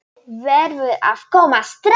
Þú verður að koma strax!